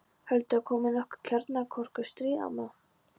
Heldurðu að komi nokkuð kjarnorku- stríð, amma?